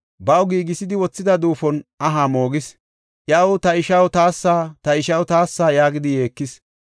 Baw giigisidi wothida duufon aha moogis. Iyaw, “Ta ishaw taassa! ta ishaw taassa!” yaagidi yeekis.